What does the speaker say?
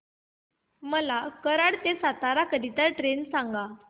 मला कराड ते सातारा करीता ट्रेन सांगा